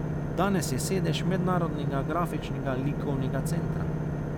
Danes je sedež Mednarodnega grafičnega likovnega centra.